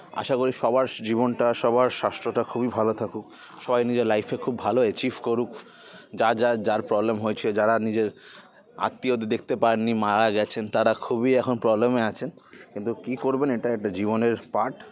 আশা করি সবার জীবনটা সবার সাসঠটা খুব ভালো থাকুক সবাই নিজের life -এ খুব ভালো achieve করুক যা যা যার problem হয়েছে যারা নিজের আত্মীয়দের দেখতে পাননি মারা গেছেন তারা খুবই এখন problem আছেন কিন্তু কী করবেন এটা একটা জীবনের part